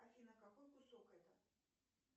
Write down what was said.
афина какой кусок это